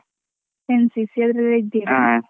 NCC ಅದ್ರ .